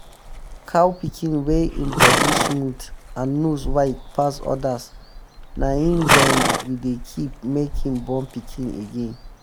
cow pikin wey en um body smooth and nose wide um pass others na him dem we dey keep make im um born pikin again.